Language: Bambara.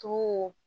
Tumu